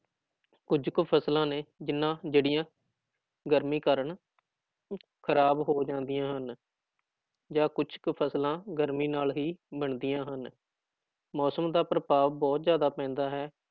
ਕੁੱਝ ਕੁ ਫ਼ਸਲਾਂ ਨੇ ਜਿੰਨਾਂ ਜਿਹੜੀਆਂ ਗਰਮੀ ਕਾਰਨ ਖ਼ਰਾਬ ਹੋ ਜਾਂਦੀਆਂ ਹਨ ਜਾਂ ਕੁਛ ਕੁ ਫ਼ਸਲਾਂ ਗਰਮੀ ਨਾਲ ਵੀ ਬਣਦੀਆਂ ਹਨ, ਮੌਸਮ ਦਾ ਪ੍ਰਭਾਵ ਬਹੁਤ ਜ਼ਿਆਦਾ ਪੈਂਦਾ ਹੈ